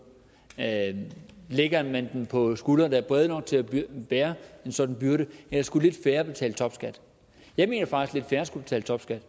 lægger man dem på skuldre der er brede nok til at bære en sådan byrde eller skulle lidt færre betale topskat jeg mener faktisk lidt færre skulle betale topskat